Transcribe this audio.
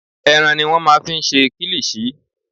Ẹran ni wọ́n máa ń fi ń ṣe kílíṣì.